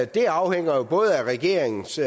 det afhænger jo både af regeringens